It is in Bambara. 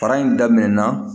Fara in daminɛna